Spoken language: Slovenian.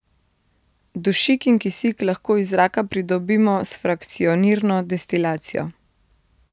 Dušik in kisik lahko iz zraka pridobimo s frakcionirno destilacijo.